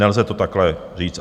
Nelze to takhle říct.